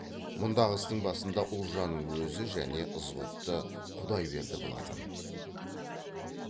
мұндағы істің басында ұлжанның өзі және ызғұтты құдайберді болатын